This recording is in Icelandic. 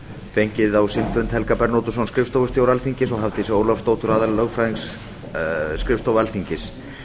fengið á sinn fund helga bernódusson skrifstofustjóra alþingis og hafdísi ólafsdóttur aðallögfræðing skrifstofu alþingis